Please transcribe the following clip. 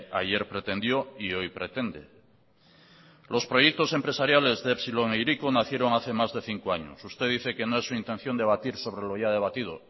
ayer pretendió y hoy pretende los proyectos empresariales de epsilon e hiriko nacieron hace más de cinco años usted dice que no es su intención debatir sobre lo ya debatido